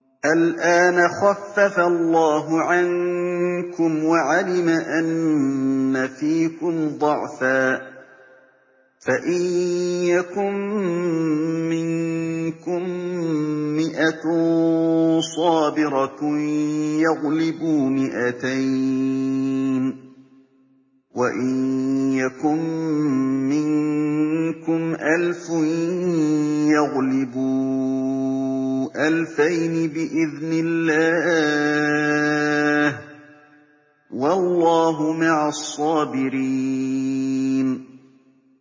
الْآنَ خَفَّفَ اللَّهُ عَنكُمْ وَعَلِمَ أَنَّ فِيكُمْ ضَعْفًا ۚ فَإِن يَكُن مِّنكُم مِّائَةٌ صَابِرَةٌ يَغْلِبُوا مِائَتَيْنِ ۚ وَإِن يَكُن مِّنكُمْ أَلْفٌ يَغْلِبُوا أَلْفَيْنِ بِإِذْنِ اللَّهِ ۗ وَاللَّهُ مَعَ الصَّابِرِينَ